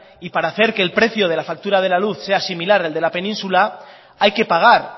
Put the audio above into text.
y para hacer que el precio de la factura de la luz sea similar al de la península hay que pagar